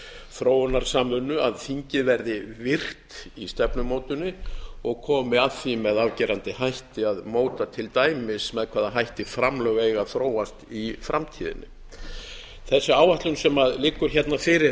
þróunarsamvinnu að þingið verði virkt í stefnumótuninni og komi að því með afgerandi hætti að móta til dæmis með hvaða hætti framlög eiga að þróast í framtíðinni þessi áætlun sem liggur fyrir